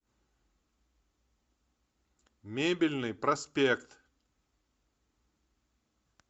мебельный проспект